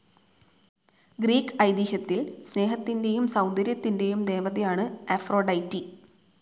Greek ഐതിഹ്യത്തിൽ സ്നേഹത്തിന്റെയും സൗന്ദര്യത്തിന്റെയും ദേവതയാണ് അഫ്രൊഡൈറ്റി.